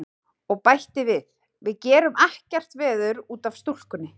Og bætti við: Við gerum ekkert veður út af stúlkunni.